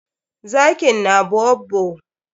Zakin na baobab.